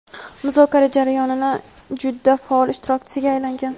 muzokara jarayonining juda faol ishtirokchisiga aylangan.